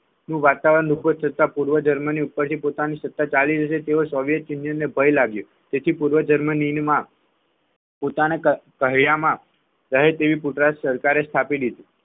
વાતાવરણ ઊભું થતા પૂર્વ જર્મની ઉપરથી પોતાની સત્તા ચાલી જશે તેવો સોંગટે યુનિયને ભય લાગ્યો તેથી પૂર્વ જર્મનીમાં પોતાના કહ્યામાં રહે રીતે સરકારે સ્થાપી દીધી